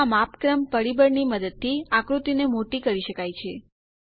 જેમાં માપક્રમ પરિબળ ની મદદથી આકૃતિને મોટી કરી શકાય છે